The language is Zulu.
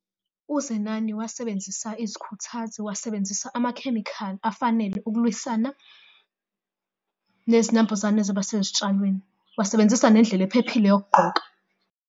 UZenani wasebenzisa izikhuthazo, wasebenzisa amakhemikhali afanele ukulwisana nezinambuzane ezaba sezitshalweni. Wasebenzisa nendlela ephephile yokugqoka.